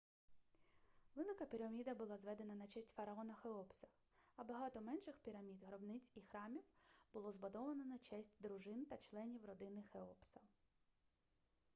велика піраміда була зведена на честь фараона хеопса а багато менших пірамід гробниць і храмів було збудовано на честь дружин та членів родини хеопса